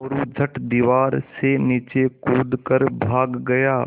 मोरू झट दीवार से नीचे कूद कर भाग गया